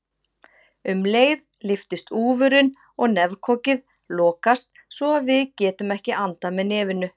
Um leið lyftist úfurinn og nefkokið lokast svo að við getum ekki andað með nefinu.